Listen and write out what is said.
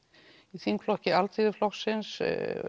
í þingflokki Alþýðuflokksins